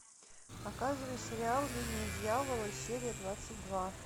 показывай сериал линия дьявола серия двадцать два